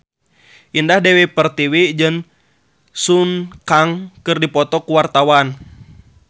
Indah Dewi Pertiwi jeung Sun Kang keur dipoto ku wartawan